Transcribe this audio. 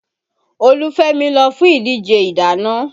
Olúfemi lọ fún ìdíje ìdáná